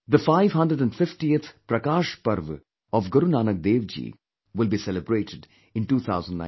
The 550th Prakash Parv of Guru Nanak Dev Ji will be celebrated in 2019